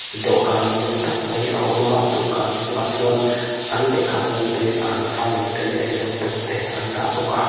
dawhkan lian tak mai a awm a dawhkan chungah chuan an lehkhabu te an file te leh laptop te a awm bawk a.